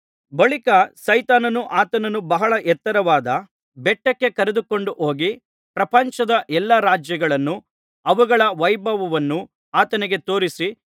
ಬಳಿಕ ಸೈತಾನನು ಆತನನ್ನು ಬಹಳ ಎತ್ತರವಾದ ಬೆಟ್ಟಕ್ಕೆ ಕರೆದುಕೊಂಡು ಹೋಗಿ ಪ್ರಪಂಚದ ಎಲ್ಲಾ ರಾಜ್ಯಗಳನ್ನೂ ಅವುಗಳ ವೈಭವವನ್ನೂ ಆತನಿಗೆ ತೋರಿಸಿ